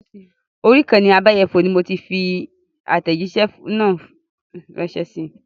Orí ìkànnì abẹ́yẹfò Gmail ni mo ti fi àtẹ̀jísẹ́ náà rànsẹ́ sii